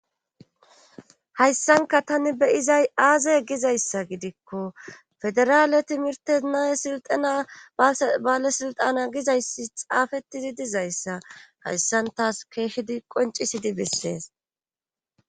Hayssankka taani be7izay aaze gizayssa gidikko federaale timirttena silxxena balesilxxana gizayssi xaafettididuzayssa haysaan tas keehidi qonnccisidi bessees.